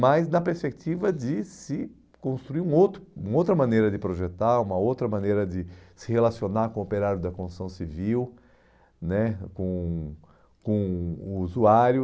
mas na perspectiva de se construir um outro uma outra maneira de projetar, uma outra maneira de se relacionar com o operário da construção civil né, com com o usuário.